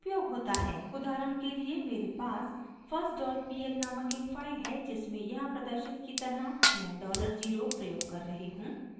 उदाहरण के लिए: मेरे पास firstpl नामक एक फाइल है जिसमें यहाँ प्रदर्शित की तरह मैं $0 प्रयोग कर रही हूँ